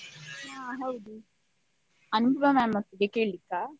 ಹಾ ಹೌದು, ಅನುಪಮ ma'am ನೊಟ್ಟಿಗೆ ಕೇಳಿಕ್ಕ?